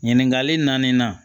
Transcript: Ɲininkali naani na